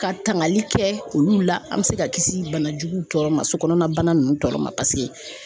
Ka tangali kɛ olu la an mɛ se ka kisi banajuguw tɔɔrɔ ma sokɔnɔna bana ninnu tɔɔrɔ ma paseke